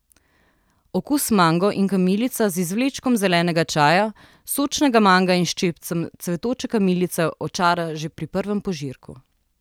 Okus Mango in kamilica z izvlečkom zelenega čaja, sočnega manga in ščepcem cvetoče kamilice očara že pri prvem požirku.